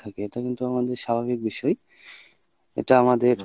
থাকে এটা কিন্তু আমাদের স্বাভাবিক বিষয় এটা আমাদের।